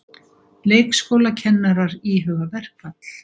Leikskólakennarar íhuga verkfall